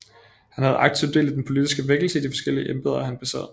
Han havde aktivt del i den politiske vækkelse i de forskellige embeder han besad